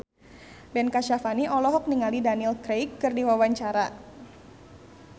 Ben Kasyafani olohok ningali Daniel Craig keur diwawancara